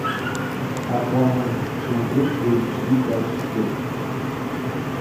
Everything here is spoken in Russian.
аквамен смотреть в эйчди качестве